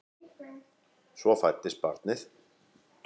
Svo fæddist barnið.